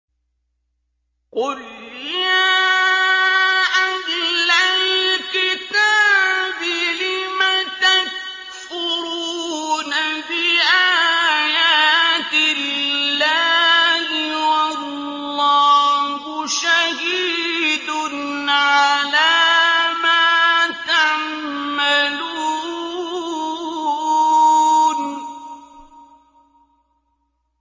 قُلْ يَا أَهْلَ الْكِتَابِ لِمَ تَكْفُرُونَ بِآيَاتِ اللَّهِ وَاللَّهُ شَهِيدٌ عَلَىٰ مَا تَعْمَلُونَ